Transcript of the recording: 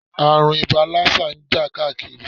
Ààrùn ibà lásà ń jà káàkiri.